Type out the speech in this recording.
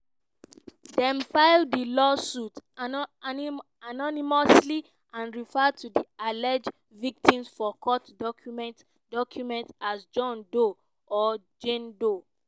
dem file di lawsuits anonymously and refer to di alleged victims for court documents documents as john doe or jane doe.